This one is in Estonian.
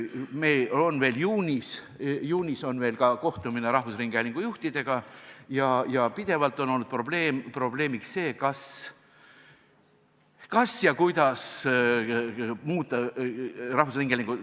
Meil on veel juunis kohtumine rahvusringhäälingu juhtidega ja pidevalt on olnud probleemiks see, kas ja kuidas muuta rahvusringhäälingut.